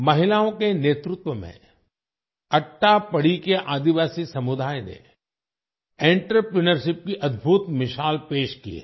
महिलाओं के नेतृत्व में अट्टापडी के आदिवासी समुदाय ने आंत्रप्रिन्योरशिप की अद्भुत मिसाल पेश की है